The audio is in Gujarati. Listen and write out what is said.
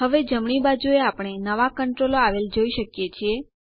હવે જમણી બાજુએ આપણે નવા કંટ્રોલો આવેલ જોઈ શકીએ છીએ